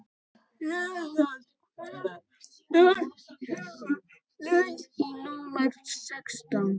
Reynald, hvenær kemur leið númer sextán?